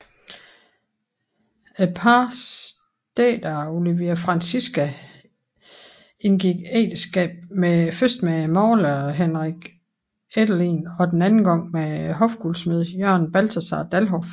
Parets datter Olivia Francisca indgik ægteskab først med maler Heinrich Eddelien og den anden gang med hofguldsmed Jørgen Balthasar Dalhoff